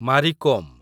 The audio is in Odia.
ମାରି କୋମ୍